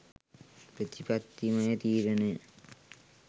ප්‍රතිපත්තිමය තීරණය